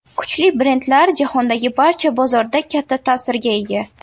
Kuchli brendlar jahondagi barcha bozorda katta ta’sirga ega.